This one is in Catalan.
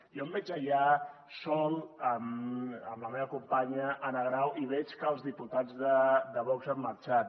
jo em veig allà sol amb la meva companya anna grau i veig que els diputats de vox han marxat